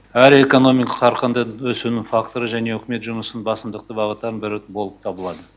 әрі экономиканы қарқынды өсудің факторы және үкімет жұмысының басымдықты бағыттардың бірі болып табылады